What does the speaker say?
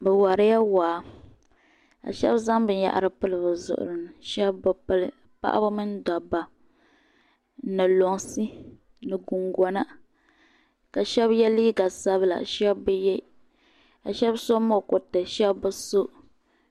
Bɛ warila waa ka shabi zaŋ bin yahiri n pili bi zuɣurini shabi bɛ pili paɣibi mini daba ni lunsi, ni gungona kashabiye liiga sabila shab bɛye ka shab so mukuriti shab biso